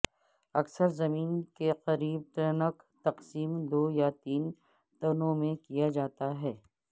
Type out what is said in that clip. اکثر زمین کے قریب ٹرنک تقسیم دو یا تین تنوں میں کیا جاتا ہے